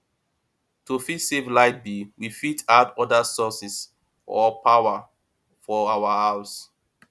to fit save light bill we fit add oda sources or power for our house